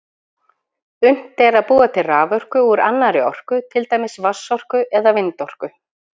Unnt er að búa til raforku úr annarri orku, til dæmis vatnsorku eða vindorku.